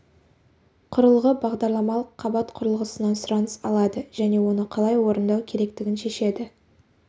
құрылғы бағдарламалық қабат құрылғысынан сұраныс алады және оны қалай орындау керектігін шешеді